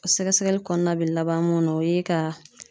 O sɛgɛsɛgɛli kɔɔna be laban mun na o ye ka